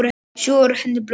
Sjúga úr henni blóðið.